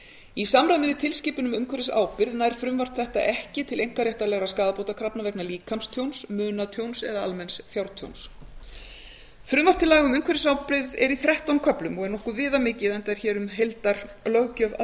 í samræmi við tilskipun um umhverfisábyrgð nær frumvarp þetta ekki til einkaréttarlegra skaðabótakrafna vegna líkamstjóns munatjóns eða almenns fjártjóns frumvarp til laga um umhverfisábyrgð er í þrettán köflum og er nokkuð viðamikið enda er hér um heildarlöggjöf að